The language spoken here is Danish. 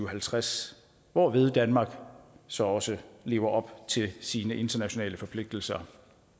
og halvtreds hvorved danmark så også lever op til sine internationale forpligtelser